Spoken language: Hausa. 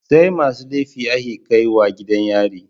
SAimasu laifi ake kaiwa gidan yari